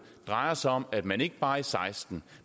drejer sig om at man ikke bare i seksten